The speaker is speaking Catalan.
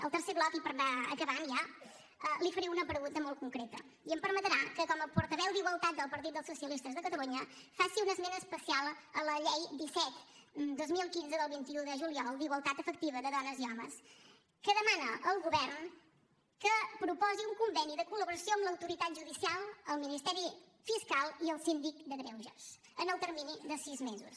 al tercer bloc i per anar acabant ja li faré una pregunta molt concreta i em permetrà que com a portaveu d’igualtat del partit dels socialistes de catalunya faci un esment especial de la llei disset dos mil quinze del vint un de juliol d’igualtat efectiva de dones i homes que demana al govern que proposi un conveni de col·laboració amb l’autoritat judicial el ministeri fiscal i el síndic de greuges en el termini de sis mesos